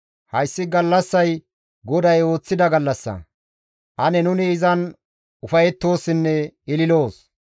Hayssi gallassay GODAY ooththida gallassa; ane nuni izan ufayettoossinne ililoos.